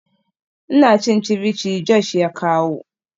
Ina cin ceviche Josh ya kawo.